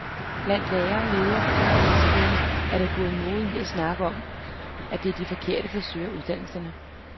Blandt lærere og ledere på uddannelsesstederne er der gået mode i at snakke om, at det er de forkerte, der søger uddannelserne.